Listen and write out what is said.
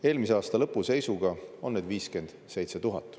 Eelmise aasta lõpu seisuga on neid 57 000.